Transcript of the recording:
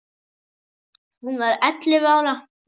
Hún var ellefu ára.